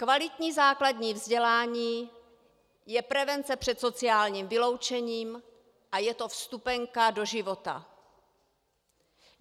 Kvalitní základní vzdělání je prevence před sociálním vyloučením a je to vstupenka do života.